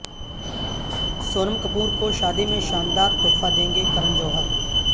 سونم کپور کو شادی میں شاندار تحفہ دیں گے کرن جوہر